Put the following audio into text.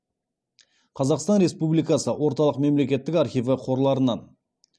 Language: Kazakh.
қазақстан республикасы орталық мемлекеттік архиві қорларынан